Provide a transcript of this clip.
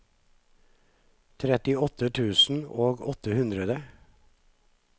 trettiåtte tusen og åtte hundre